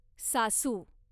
सासू